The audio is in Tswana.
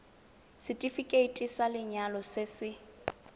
setefikeiti sa lenyalo se se